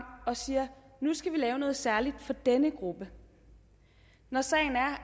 og siger nu skal vi lave noget særligt for denne gruppe når sagen er